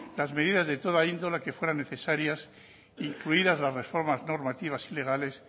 las medidas de toda índole que fueran necesarias incluidas las reformas normativas y legales